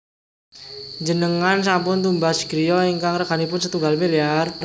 Njenengan sampun tumbas griya ingkang reganipun setunggal miliar?